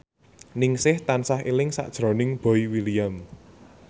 Ningsih tansah eling sakjroning Boy William